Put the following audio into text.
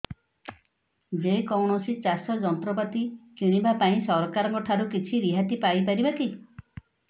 ଯେ କୌଣସି ଚାଷ ଯନ୍ତ୍ରପାତି କିଣିବା ପାଇଁ ସରକାରଙ୍କ ଠାରୁ କିଛି ରିହାତି ପାଇ ପାରିବା କି